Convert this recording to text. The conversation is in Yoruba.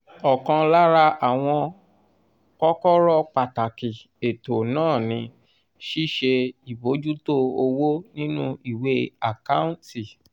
ọ̀kan lára àwọn kọ́kọ́rọ́ pàtàkì ètò náà ni ṣíṣe ìbojútó owó nínú ìwé àkáǹtì.